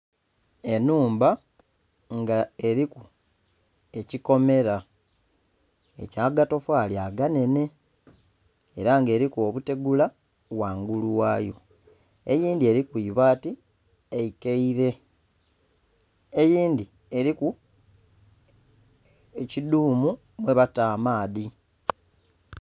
Enhumba nga eriku ekikomera ekyagatofali aganhenhe era nga eriku obutegula ghangulu ghayo, eyindhi eriku ibaati eikaire, eyindhi eriku ekidhumu mwabata amaadhi.